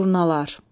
Durnalar.